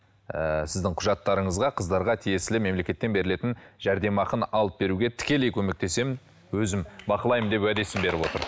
ыыы сіздің құжаттарыңызға қыздарға тиесілі мемлекеттен берілетін жәрдемақыны алып беруге тікелей көмектесемін өзім бақылаймын деп уәдесін беріп отыр